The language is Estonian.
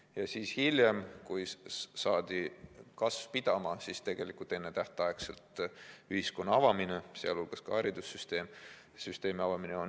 Ja hiljem, kui saadi kasv pidama, tuli tegelikult ennetähtaegselt ühiskonna avamine, sealhulgas ka haridussüsteemi avamine.